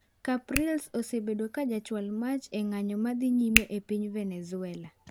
Capriles osebedo ka jachwal mach e ng'anyo madhii nyime epiny Venezuela.